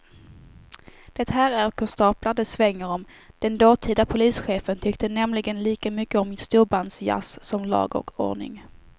Det här är konstaplar det svänger om, den dåtida polischefen tyckte nämligen lika mycket om storbandsjazz som om lag och ordning.